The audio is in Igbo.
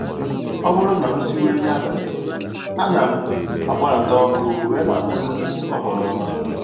Ọ bụrụ na m siwe nri abalị, ana m agbalata ọkụ wee na-akpọ egwu oghoroma